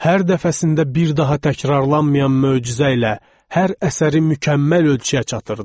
Hər dəfəsində bir daha təkrarlanmayan möcüzə ilə hər əsəri mükəmməl ölçüyə çatdırırdı.